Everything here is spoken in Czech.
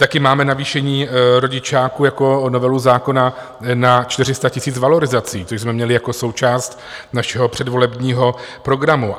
Také máme navýšení rodičáku jako novelu zákona na 400 000 valorizací, což jsme měli jako součást našeho předvolebního programu.